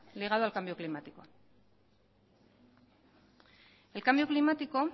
ligado al cambio climático el cambio climático